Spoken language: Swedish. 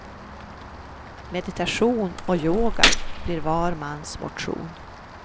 Meditation och yoga blir var mans motion.